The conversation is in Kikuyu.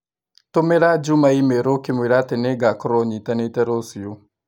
Tumĩra Juma i-mīrū ũkĩmwĩra atĩ nĩ ngakorwo nyitanĩte rũciũ.